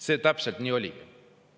" See täpselt nii oligi.